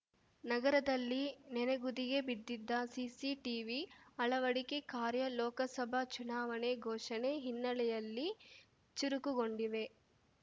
ನಗರದಲ್ಲಿ ನೆನೆಗುದಿಗೆ ಬಿದ್ದಿದ್ದ ಸಿಸಿ ಟಿವಿ ಅಳವಡಿಕೆ ಕಾರ್ಯ ಲೋಕಸಭಾ ಚುನಾವಣೆ ಘೋಷಣೆ ಹಿನ್ನೆಲೆಯಲ್ಲಿ ಚುರುಕುಗೊಂಡಿವೆ